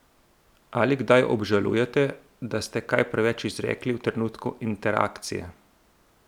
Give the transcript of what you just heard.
Ali kdaj obžalujete, da ste kaj preveč izrekli v trenutku interakcije?